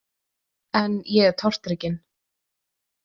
En ég er tortrygginn.